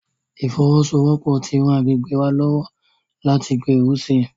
Ìfọwọ́sowọ́pọ̀ ti ran àgbègbè wa lọ́wọ́ láti gbèrú sí i.